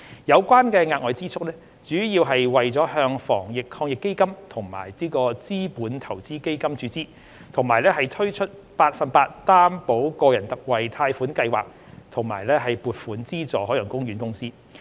有關的額外支出，主要是為了向防疫抗疫基金及資本投資基金注資，以及推出百分百擔保個人特惠貸款計劃與撥款資助海洋公園公司。